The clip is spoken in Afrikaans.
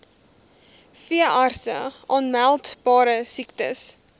veeartse aanmeldbare siektes